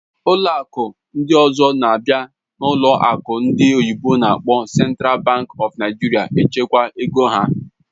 Ụlọ akụ ndị ọzọ na-abịa n'ụlọ akụ ndị oyibo n'akpọ Central Bank of Nigeria echekwa ego ha.